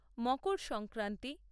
Makar Sankranti